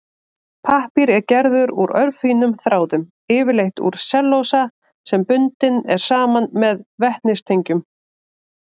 Pappír er gerður úr örfínum þráðum, yfirleitt úr sellulósa sem bundinn er saman með vetnistengjum.